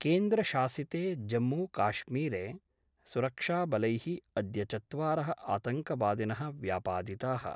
केन्द्रशासिते जम्मूकाश्मीरे सुरक्षाबलैः अद्य चत्वारः आतङ्कवादिनः व्यापादिताः।